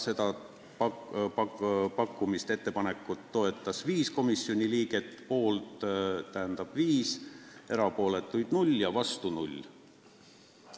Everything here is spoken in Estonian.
Seda ettepanekut toetas, st poolt oli 5 komisjoni liiget, erapooletuid oli 0 ja vastu 0.